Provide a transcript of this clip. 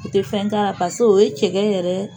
I tɛ fɛn k'a ra pase o ye cɛkɛ yɛrɛ